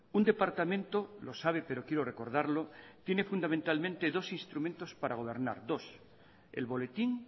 un departamento lo sabe pero quiero recordarlo tiene fundamentalmente dos instrumentos para gobernar dos el boletín